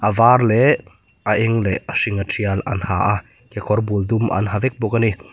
var leh a eng leh a hringa tial an ha a kekawr bul dum an ha vek bawk a ni.